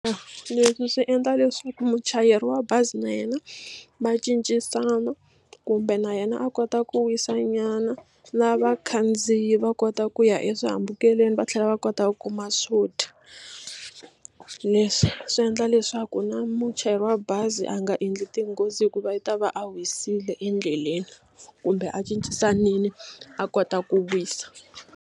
Leswi swi endla leswaku muchayeri wa bazi na yena va cincisana kumbe na yena a kota ku wisa nyana na vakhandziyi va kota ku ya eswihambukelweni va tlhela va kota ku kuma swona swo dya leswi swi endla leswaku na muchayeri wa bazi a nga endli tinghozi hikuva i ta va a wisile endleleni kumbe a cincisanile a kota ku wisa.